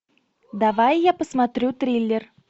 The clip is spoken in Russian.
давай я посмотрю триллер